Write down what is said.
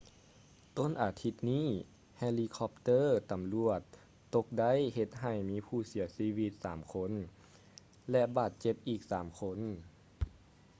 ຕົ້ນອາທິດນີ້ ເຮລີຄັອບເຕີ້ຕຳຫຼວດຕົກໄດ້ເຮັດໃຫ້ມີຜູ້ເສຍຊີວິດສາມຄົນ ແລະ ບາດເຈັບອີກສາມຄົນ